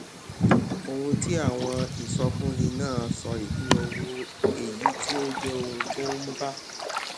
ohun tí àwọn ìsọfúnni náà sọ ìpín owó èyí tí ó jẹ ohun tó ń bá